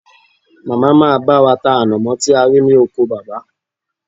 Màmá máa bá wa ta ànàmọ́ tí a rí ní oko baba